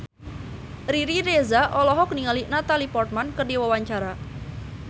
Riri Reza olohok ningali Natalie Portman keur diwawancara